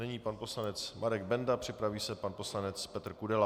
Nyní pan poslanec Marek Benda, připraví se pan poslanec Petr Kudela.